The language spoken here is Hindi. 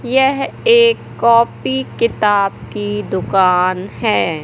यह एक कॉपी किताब की दुकान है।